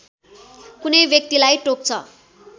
कुनै व्यक्तिलाई टोक्छ